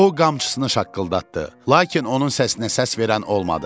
O qamçısını şaqqıldatdı, lakin onun səsinə səs verən olmadı.